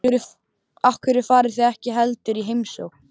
Af hverju farið þið ekki heldur í heimsókn?